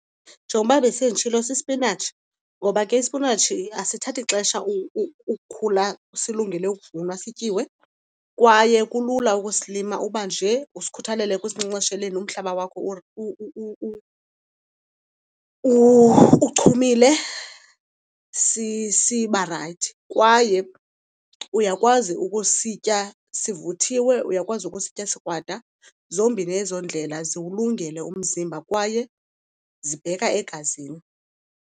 Njengoba besenditshilo sisipinatshi, ngoba ke isipinatshi asithathi xesha ukhula silungele ukuvunwa sityiwe kwaye kulula ukusilima. Uba nje usikhuthalele ekusinkcenkceshela, umhlaba wakho uchumile siba rayithi. Kwaye uyakwazi ukusitya sivuthiwe, uyakwazi ukusitya sikrwada. Zombini ezo ndlela ziwulungele umzimba kwaye zibheka egazini.